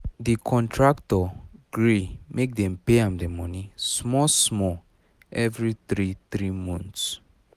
the contractor gree make dem pay am the money small small every three three months